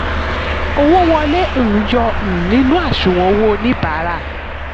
owó wọlé: um yọ um nínú àṣùwọ̀n owó oníbàárà.